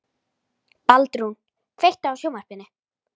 Baldrún, kveiktu á sjónvarpinu.